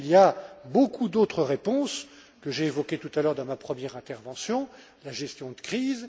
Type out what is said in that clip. Il y a beaucoup d'autres réponses, que j'ai évoquées tout à l'heure dans ma première intervention, la gestion de crise.